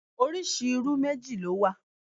Oríṣi irú méjì ló wà